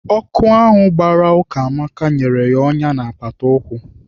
Ọkụ ahụ gbara Ukamaka nyere ọnyá na apata ụkwụ.